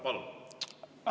Palun!